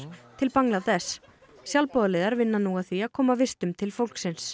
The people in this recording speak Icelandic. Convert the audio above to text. til Bangladess sjálfboðaliðar vinna nú að því að koma vistum til fólksins